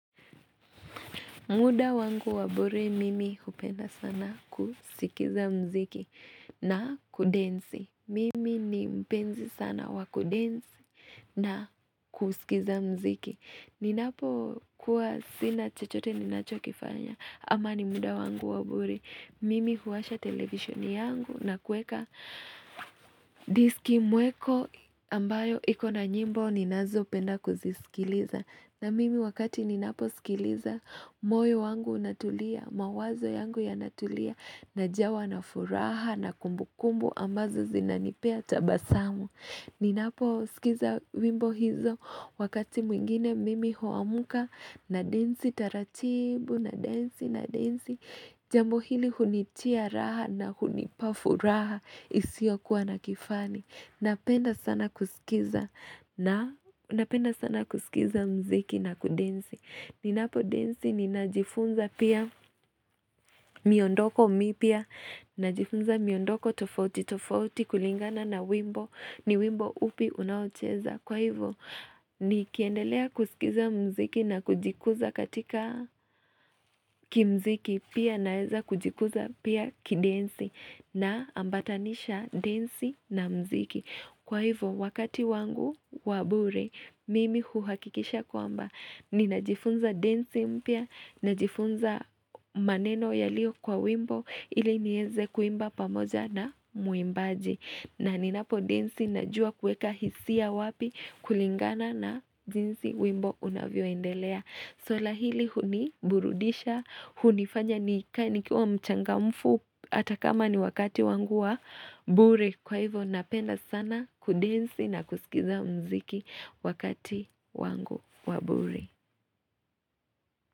Muda wangu wa bure mimi kupenda sana kusikiza mziki na kudensi. Mimi ni mpenzi sana wa kudensi na kusikiza mziki. Ninapo kuwa sina chochote ninachokifanya ama ni muda wangu wa bure mimi huwasha televisheni yangu na kuweka diski mweko ambayo iko na nyimbo ninazo penda kuzisikiliza. Na mimi wakati ninapo sikiliza moyo wangu unatulia mawazo yangu yanatulia najawa na furaha na kumbu kumbu ambazo zinanipea tabasamu. Ninapo sikiza wimbo hizo wakati mwingine mimi huamuka nadensi taratibu nadensi nadensi jambo hili hunitia raha na hunipa furaha isio kuwa na kifani. Napenda sana kusikiza mziki na kudensi. Ninapo densi ninajifunza pia miondoko mipya. Najifunza miondoko tofauti, tofauti kulingana na wimbo. Ni wimbo upi unaocheza. Kwa hivyo, nikiendelea kusikiza mziki na kujikuza katika kimziki. Pia naeza kujikuza pia kidensi naambatanisha densi na mziki. Kwa hivyo, wakati wangu wa bure, mimi uhakikisha kwamba. Ninajifunza densi mpya, najifunza maneno yalio kwa wimbo ili nieze kuimba pamoja na mwimbaji. Na ninapo densi najua kueka hisia wapi kulingana na jinsi wimbo unavyoendelea. Swala hili huniburudisha, hunifanya nikae nikiwa mchangamfu hata kama ni wakati wangu wa bure. Kwa hivo napenda sana kudensi na kusikiza mziki wakati wangu wa bure.